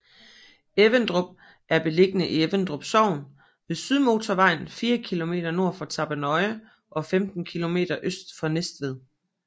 Everdrup er beliggende i Everdrup Sogn ved Sydmotorvejen fire kilometer nord for Tappernøje og 15 kilometer øst for Næstved